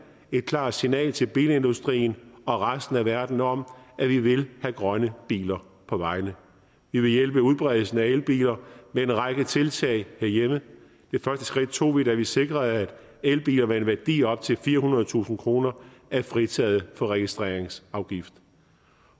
et klart signal til bilindustrien og resten af verden om at vi vil have grønne biler på vejene vi vil hjælpe udbredelsen af elbiler med en række tiltag herhjemme det første skridt tog vi da vi sikrede at elbiler med en værdi op til firehundredetusind kroner er fritaget for registreringsafgift